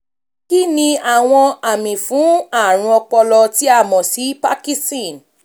kíniàwọn àmì fún àrùn ọpọlọ tí a mọ̀ sí parkinson?